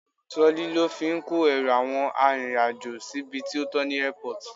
Trolley lo fi ń kó ẹrù àwọn arìnrìn-àjò síbi tí ó tọ ní Airport.